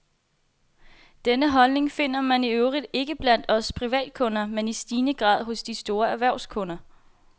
Denne holdning finder man i øvrigt ikke blot blandt os privatkunder, men i stigende grad også hos store erhvervskunder.